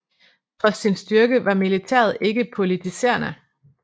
Trods sin styrke var militæret ikke politiserende